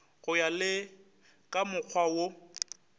go ya le kamokgwa wo